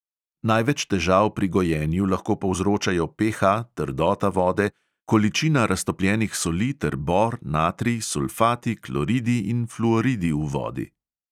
Največ težav pri gojenju lahko povzročajo PH, trdota vode, količina raztopljenih soli ter bor, natrij, sulfati, kloridi in fluoridi v vodi.